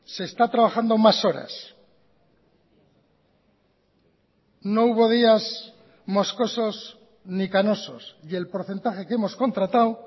se está trabajando más horas no hubo días moscosos ni canosos y el porcentaje que hemos contratado